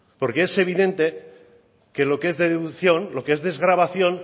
porque es evidente que lo que es de deducción lo que es desgravación